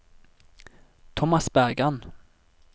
Tomas Bergan